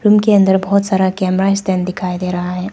Room अंदर बहोत सारा कैमरा स्टैंड दिखाई दे रहा है।